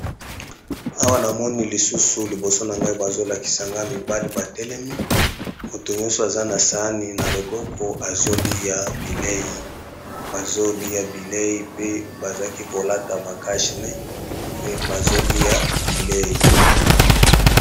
Awa na moni lisusu liboso na ngai bazolakisa nga mibale batelemi moto nyonso aza na sani na loboko azoliya bilei bazoliya bilei pe bazaki kolata ba cache nez me bazo lia bilei.